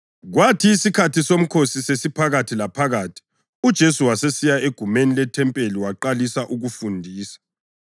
Kwathi isikhathi somkhosi sesiphakathi laphakathi uJesu wasesiya egumeni lethempeli waqalisa ukufundisa.